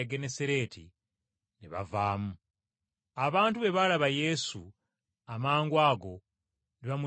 ne bavaamu. Abantu bwe balaba Yesu, amangwago ne bamutegeererawo.